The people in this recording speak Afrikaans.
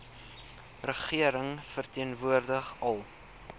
regering verteenwoordig al